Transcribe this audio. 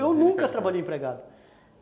Eu nunca trabalhei empregado.